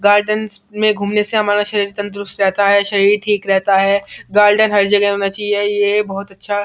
gardens में घूमने से हमारा शरीर तंदुरुस्त रहता है शरीर ठीक रहता है गार्डन हर जगह होना चाहिए ये बहुत अच्छा --